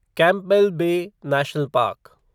Campbell Bay National park